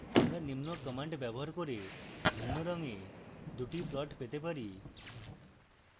আমরা নিম্ন commands ব্যবহার করে ভিন্ন রঙে দুটি plots পেতে পারি